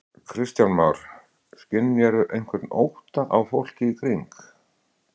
Kristján Már: Skynjarðu einhvern ótta á fólki í kring?